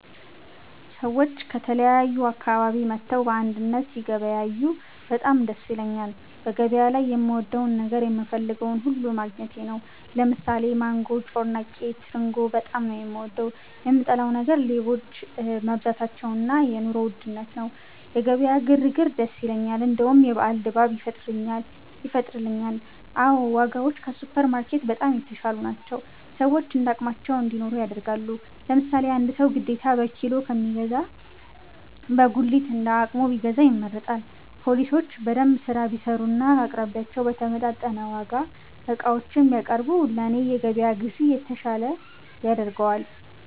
ሰዎች ከተለያዩ አካባቢ መጥተው በአንድነት ሲገበያዬ በጣም ደስ ይለኛል በገበያ ላይ የምወደው ነገር የምፈልገውን ሁሉ ማግኘቴ ነው። ለምሳሌ ማንጎ፤ ጮርናቄ፤ ትርንጎ በጣም ነው፤ የምወደው። የምጠላው ነገር ሌቦች መብዛታቸው እና የ ኑሮ ውድነት ነው። የገበያ ግር ግር ደስ ይለኛል እንደውም የበአል ድባብ ይፈጥርልኛል። አዎ ! ዋጋዎች ከሱፐር ማርኬት በጣም የተሻሉ ናቸው፤ ሰዎች እንዳቅማቸው እንዲኖሩ ያደርጋል። ለምሳሌ አንድ ሰው ግዴታ በኪሎ ከሚገዛ በጉሊት እንደ አቅሙ ቢገዛ ይመረጣል። ፓሊሶች በደንብ ስራ ቢሰሩና አቅራቢዮች በተመጣጠነ ዋጋ ዕቃዎችን ቢያቀርቡ ለኔ የገበያ ግዢ የተሻለ ያደርገዋል